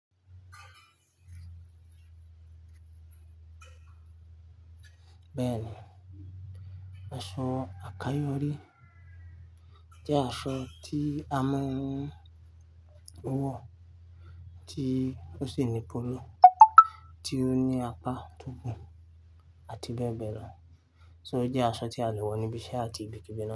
Bẹ́ẹ̀ni, aṣọ àkayò orí jẹ́ aṣọ tí a máa ń wọ, tí ó sì ni póló, tí ó ní apá tó gùn àti bẹ́ẹ̀ bẹ́ẹ̀ lọ. So jẹ́ aṣọ tí a lè wọ níbi iṣẹ́ àti ibi kíbi náà.